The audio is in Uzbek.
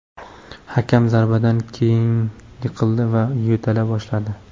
Hakam zarbadan keyin yiqildi va yo‘tala boshladi.